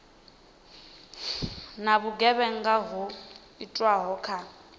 na vhugevhenga ho itwaho kha